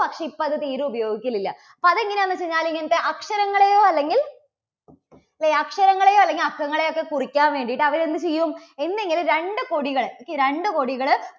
പക്ഷേ ഇപ്പോൾ അത് തീരെ ഉപയോഗിക്കലില്ല. അപ്പോ അത് എങ്ങനെയാന്ന് വെച്ച് കഴിഞ്ഞാല് ഇത് അക്ഷരങ്ങളെയോ അല്ലെങ്കിൽ അക്ഷരങ്ങളെയോ അല്ലെങ്കിൽ അക്കങ്ങളെ ഒക്കെ കുറിക്കാൻ വേണ്ടിയിട്ട് അവര് എന്ത് ചെയ്യും? എന്തെങ്കിലും രണ്ട് കൊടികൾ okay രണ്ട് കൊടികള്